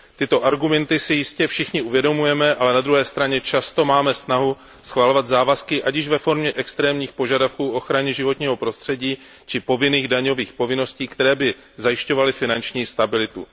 Tyto argumenty si jistě všichni uvědomujeme, ale na druhé straně často máme snahu schvalovat závazky, ať již ve formě extrémních požadavků na ochranu životního prostředí či povinných daňových povinností, které by zajišťovaly finanční stabilitu.